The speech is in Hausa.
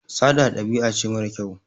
Sata ɗabi'a ce mara kyau.